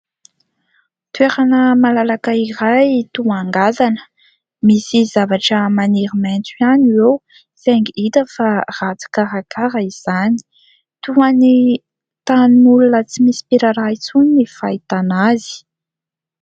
Toerana malalaka iray toa ngazana, misy zavatra maniry maitso ihany eo saingy hita fa ratsy karakara izany, toa ny tanin'olona tsy misy mpiraharaha intsony ny fahitana azy.